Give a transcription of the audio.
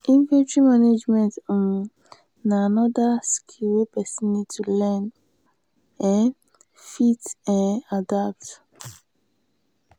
inventory management um na anoda skill wey person need to learn to um fit um adapt